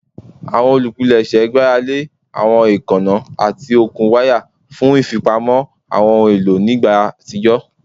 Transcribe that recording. Awọn olupilẹṣẹ gbarale awọn eekanna ati okun waya fun ifipamo awọn ohun elo ni igba atijọ